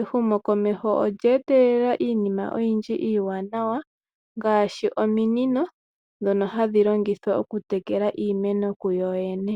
ehumo komeho olya etelela iinima iiwanawa ngaashi ominino dhono hadhi longithwa okutekela iimeno kuyoyene.